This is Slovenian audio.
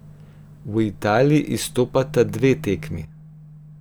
V Italiji izstopata dve tekmi.